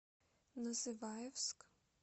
называевск